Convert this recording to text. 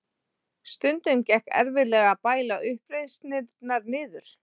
Stundum gekk erfiðlega að bæla uppreisnirnar niður.